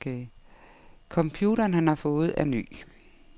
Computeren, han har fået, er ny.